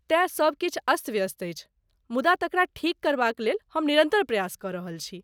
तेँ सब किछु अस्त व्यस्त अछि, मुदा तकरा ठीक करबाक लेल हम निरन्तर प्रयास कऽ रहल छी।